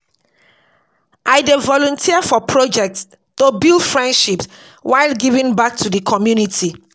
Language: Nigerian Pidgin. I dey volunteer for projects to build friendships while giving back to the community.